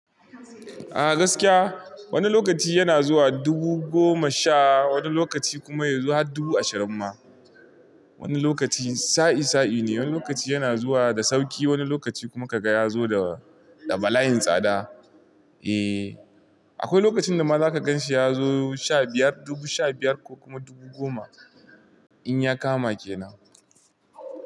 A gaskiya wani lokaci yana zuwa dubu goma sha, wani lokaci kuma ya zo har dubu ashirin ma. Wani lokaci sa, i sa, i ne, wani lokaci yana zuwa da sauki, wani lokaci kuma kaga ya zo da balayin tsada. Eh akwai lokacin da ma zaka gan shi ya zo sha biyar, dubu sha biyar ko kuma dubu goma in ya kama ke nan.